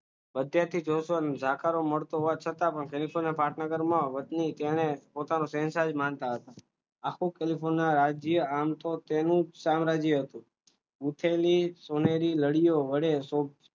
અત્યારથી મળતો હોવા છતાં પણ હોતી અને તેને પોતાનું શહેનશાહ માનતા હતા આખું કેલિફોર્નિયા રાજ્ય આવતો તેનું સામ્રાજ્ય હતું અને ઊઠેની સોનેરી નળીઓ વડે